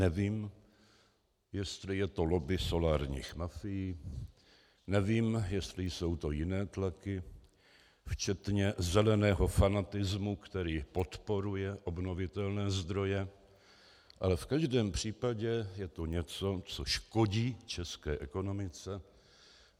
Nevím, jestli je to lobby solárních mafií, nevím, jestli jsou to jiné tlaky včetně zeleného fanatismu, který podporuje obnovitelné zdroje, ale v každém případě je to něco, co škodí české ekonomice.